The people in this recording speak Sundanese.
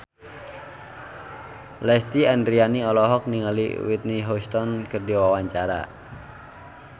Lesti Andryani olohok ningali Whitney Houston keur diwawancara